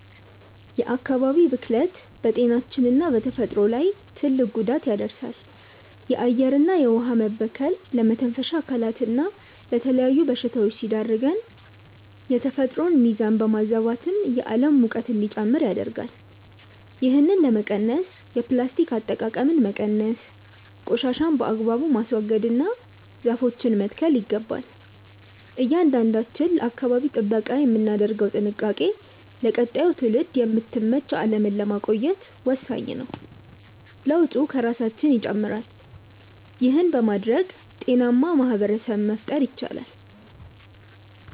የአካባቢ ብክለት በጤናችንና በተፈጥሮ ላይ ትልቅ ጉዳት ያደርሳል። የአየርና የውኃ መበከል ለመተንፈሻ አካላትና ለተለያዩ በሽታዎች ሲዳርገን፣ የተፈጥሮን ሚዛን በማዛባትም የዓለም ሙቀት እንዲጨምር ያደርጋል። ይህንን ለመቀነስ የፕላስቲክ አጠቃቀምን መቀነስ፣ ቆሻሻን በአግባቡ ማስወገድና ዛፎችን መትከል ይገባል። እያንዳንዳችን ለአካባቢ ጥበቃ የምናደርገው ጥንቃቄ ለቀጣዩ ትውልድ የምትመች ዓለምን ለማቆየት ወሳኝ ነው። ለውጡ ከራሳችን ይጀምራል። ይህን በማድረግ ጤናማ ማኅበረሰብ መፍጠር ይቻላል።